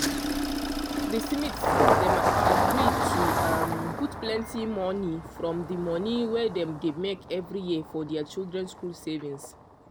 di smiths dem agree to um put plenty money from di money wey dem dey make every year for dia children school savings.